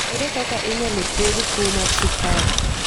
Ere kaka inyalo thiedh tuwo mar sukari?